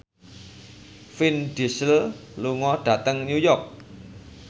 Vin Diesel lunga dhateng New York